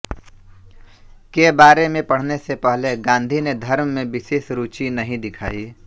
के बारे में पढ़ने से पहले गांधी ने धर्म में विशेष रुचि नहीं दिखायी